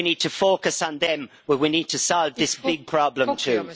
We need to focus on them, but we need to solve this big problem too.